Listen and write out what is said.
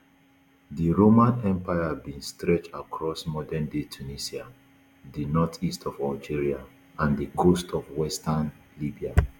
di roman empire bin stretch across modernday tunisia di northeast of algeria and di coast of western libya